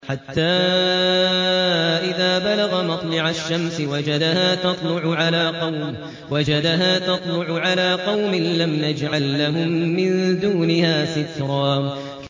حَتَّىٰ إِذَا بَلَغَ مَطْلِعَ الشَّمْسِ وَجَدَهَا تَطْلُعُ عَلَىٰ قَوْمٍ لَّمْ نَجْعَل لَّهُم مِّن دُونِهَا سِتْرًا